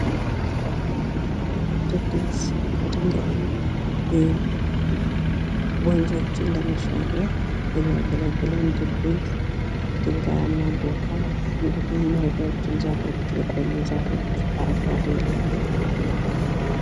ድልድይ ከድንጋይ ወንዞችን ለመሻገር የምያገግለን ድልድይ ድንጋያማ ቦታን እንዲሁም ረጃጅም ዛፎች የቆዩ ዛፎች አረንጕዴ ለምልመው ነው::